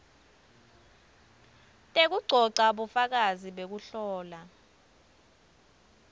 tekugcogca bufakazi bekuhlola